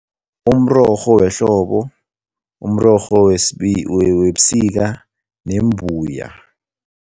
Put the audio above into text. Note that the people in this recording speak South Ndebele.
Umrorho wehlobo, umrorho webusika nembuya.